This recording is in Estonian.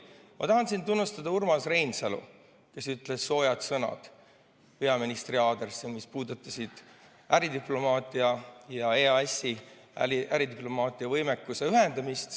Ma tahan tunnustada Urmas Reinsalu, kes ütles peaministrile sooje sõnu äridiplomaatia ja EAS-i võimekuse ühendamise kohta.